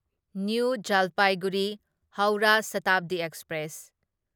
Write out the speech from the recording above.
new Jalpaiguri Howrah Shatabdi express